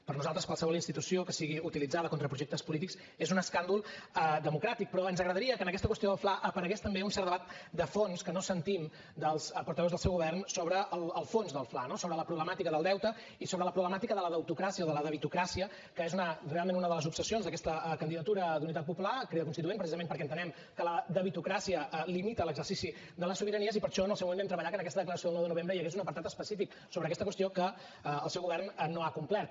per nosaltres qualsevol institució que sigui utilitzada contra projectes polítics és un escàndol democràtic però ens agradaria que en aquesta qüestió del fla aparegués també un cert debat de fons que no sentim dels portaveus del seu govern sobre el fons del fla no sobre la problemàtica del deute i sobre la problemàtica de la deutocràcia o de la debitocràcia que és realment una de les obsessions d’aquesta candidatura d’unitat popular crida constituent precisament perquè entenem que la debitocràcia limita l’exercici de les sobiranies i per això en el seu moment vam treballar que en aquesta declaració del nou de novembre hi hagués un apartat específic sobre aquesta qüestió que el seu govern no ha complert